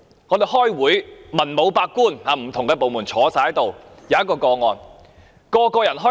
我們開會時，文武百官，來自不同的部門坐在席上。